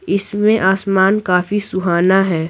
इसमें आसमान काफी सुहाना है।